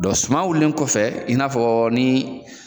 Dɔn suma wulilen kɔfɛ i n'a fɔ ni